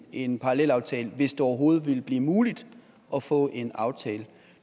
en parallelaftale hvis det overhovedet ville blive muligt at få en aftale